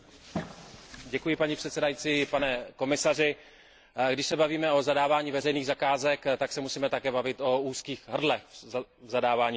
Paní předsedající, pane komisaři, když se bavíme o zadávání veřejných zakázek, tak se musíme také bavit o úzkých hrdlech zadávání veřejných zakázek.